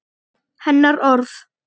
Hennar orð.